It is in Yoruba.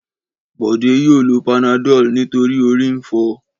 Bọ̀dé yóò lo Panadol nítorí ori ń fọ.